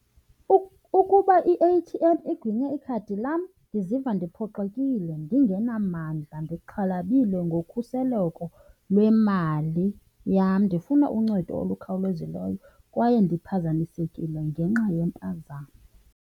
Ukuba i-A_T_M iginye ikhadi lam ndiziva ndiphoxekile, ndingenamandla, ndixhalabile ngokhuseleko lwemali yam. Ndifuna uncedo olukhawulezileyo kwaye ndiphazamisekile ngenxa yempazamo.